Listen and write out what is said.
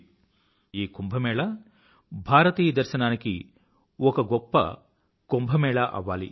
అధ్యాత్మికత నిండిన ఈ కుంభ్ భారతీయ దర్శనానికి ఒక గొప్ప కుంభ్ అవ్వాలి